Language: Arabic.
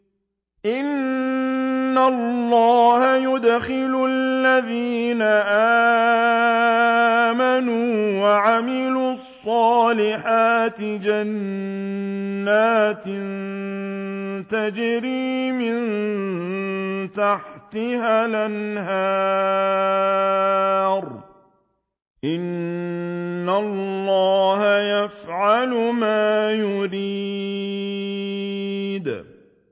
إِنَّ اللَّهَ يُدْخِلُ الَّذِينَ آمَنُوا وَعَمِلُوا الصَّالِحَاتِ جَنَّاتٍ تَجْرِي مِن تَحْتِهَا الْأَنْهَارُ ۚ إِنَّ اللَّهَ يَفْعَلُ مَا يُرِيدُ